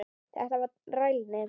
Þetta var rælni.